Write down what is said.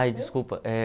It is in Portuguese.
Ai, desculpa. Eh